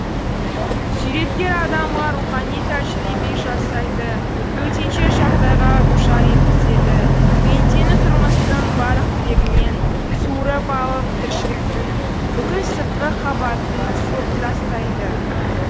суреткер адамға рухани тәжірибе жасайды төтенше жағдайға душар еткізеді пендені тұрмыстың барлық тірегінен суырып алып тіршіліктің бүкіл сыртқы қабатын сылып тастайды